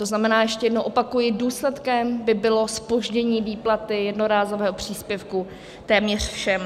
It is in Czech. To znamená, ještě jednou opakuji, důsledkem by bylo zpoždění výplaty jednorázového příspěvku téměř všem.